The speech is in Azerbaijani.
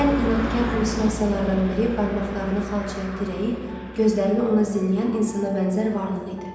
Ən inadkar hallüsinasiyalardan biri barmaqlarını xalçaya dirəyib, gözlərini ona zilləyən insana bənzər varlıq idi.